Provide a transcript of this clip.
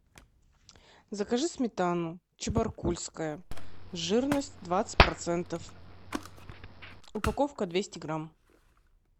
закажи сметану чебаркульская жирность двадцать процентов упаковка двести грамм